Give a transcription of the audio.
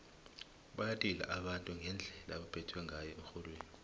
bayalila abantu ngendlela ebebaphethwe ngayo erholweni